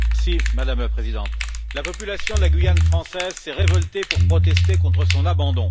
Madame la Présidente, la population de la Guyane française s'est révoltée pour protester contre son abandon.